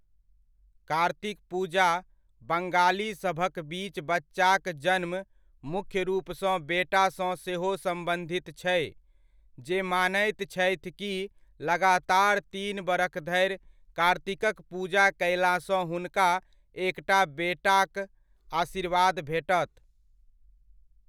कार्तिक पूजा बङालीसभक बीच बच्चाक जन्म मुख्य रूपसँ बेटासँ सेहो सम्बन्धित छै, जे मानैत छथि कि लगातार तीन बरख धरि कार्तिकक पूजा कयलासँ हुनका एकटा बेटाक आशीर्वाद भेटत।